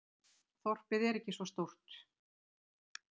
Þorpið er ekki svo stórt.